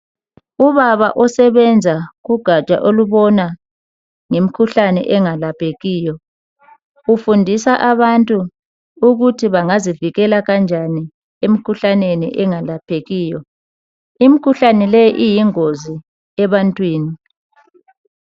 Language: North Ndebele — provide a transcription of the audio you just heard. Ubaba osebenza ugatsha olubona ngemkhuhlane engalaphekiyo ufundisa abantu ukuthi bangazivikela kanjani emkhuhlaneni engalaphekiyo. Imkhuhlane leyi iyingozi ebantwini